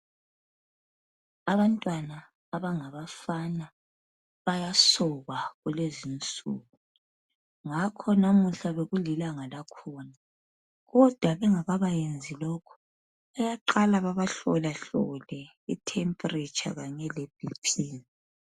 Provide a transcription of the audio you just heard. Abantwana abangabafana bayasokwa kulezinsuku, ngakho namuhla bekulilanga lakhona kodwa bengakabayenzi lokhu bayaqala babahlolahlole ithempuritsha kanye leBP.